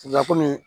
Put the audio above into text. La kɔmi